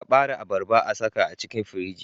kabare abarba a saka a cikin firiji